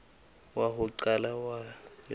wa ho qala wa leloko